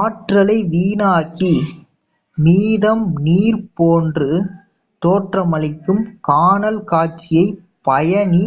ஆற்றலை வீணாக்கி மீதம் நீர் போன்று தோற்றமளிக்கும் கானல் காட்சியை பயணி